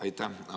Aitäh!